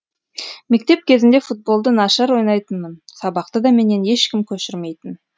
мектеп кезінде футболды нашар ойнайтынмын сабақты да менен ешкім көшірмейтін